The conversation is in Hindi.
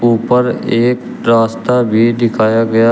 ऊपर एक रास्ता भी दिखाया गया--